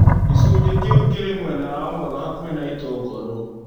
Gĩcunjĩ kĩu kĩrĩ mwena na ũmotho hakuhĩ na itũngũrũ.